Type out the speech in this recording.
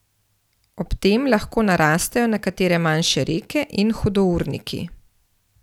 Ob tem lahko narastejo nekatere manjše reke in hudourniki.